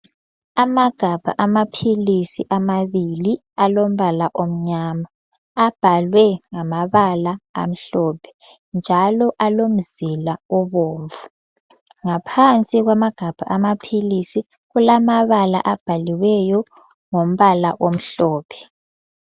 Amagabha amaphilisi amabili alombala omyama, abhalwe ngamabala amhlophe njalo alomzila obomvu. Ngaphansi kwamagabha amaphilisi kulamabala abhaliweyo ngombala omhlophe.